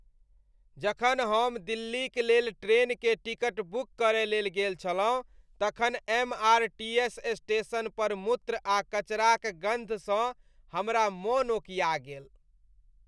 जखन हम दिल्लीक लेल ट्रेन के टिकट बुक करय लेल गेल छलहुँ तखन एमआरटीएस स्टेशन पर मूत्र आ कचराक गन्धसँ हमरा मन ओकीया गेल।